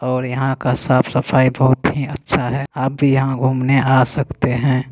और यहाँ का साफ सफाई बहुत ही अच्छा है आप भी यहाँ घूमने आ सकते हैं ।